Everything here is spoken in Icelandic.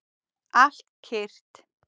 Allt kyrrt.